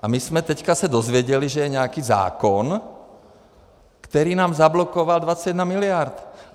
A my jsme se teď dozvěděli, že je nějaký zákon, který nám zablokoval 21 miliard.